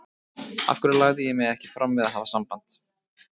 Af hverju lagði ég mig ekki fram við að hafa samband?